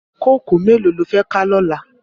Kókòó méló ló fè ká lòlá?